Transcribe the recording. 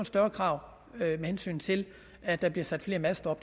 større krav med hensyn til at der bliver sat flere master